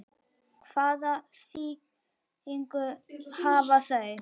Hvaða þýðingu hafa þau?